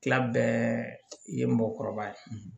Tila bɛɛ ye mɔgɔkɔrɔba ye